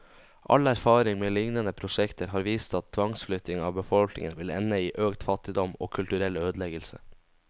All erfaring med lignende prosjekter har vist at tvangsflytting av befolkningen vil ende i økt fattigdom, og kulturell ødeleggelse.